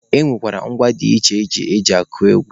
E nwere ngwa dị iche iche eji akụ egwu.